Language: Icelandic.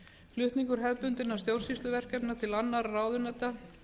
flutningur hefðbundinna stjórnsýsluverkefna til annarra ráðuneyta